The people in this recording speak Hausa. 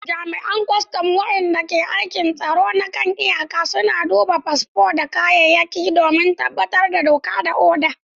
Jami’an kwastam wadanda ke aikin tsaron kan iyaka suna duba fasfo da kayayyaki don tabbatar da doka da oda.